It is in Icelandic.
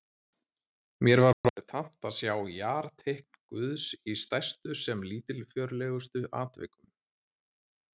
Mér var orðið tamt að sjá jarteikn Guðs í stærstu sem lítilfjörlegustu atvikum.